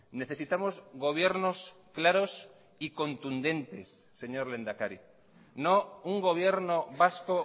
necesitamos gobiernos claros y contundentes señor lehendakari no un gobierno vasco